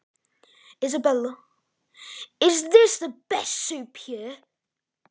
Elísabet: Er þetta besta súpan hérna?